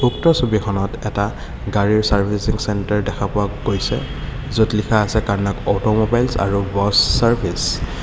উক্ত ছবিখনত এটা গাড়ীৰ চাৰ্ভিচিং চেণ্টাৰ দেখা পোৱা গৈছে য'ত লিখা আছে কানাক অটোমবাইলছ আৰু বছ চাৰ্ভিচ ।